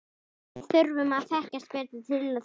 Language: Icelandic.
Við þurfum að þekkjast betur til þess.